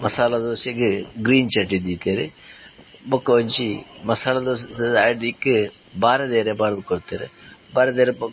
ಮಸಾಲ ದೋಸೆಗ್ ಗ್ರೀನ್ ಚಟ್ನಿ ದೀತೆರ್ ಬಕೊಂಜಿ ಮಸಾಲದೋಸೆದ ಅಡಿಕ್ ಬಾರೆದಿರೆ ಪಾಡ್ದ್ ಕೊರ್ತೆರ್ ಬಾರೆದಿರೆ ಪ--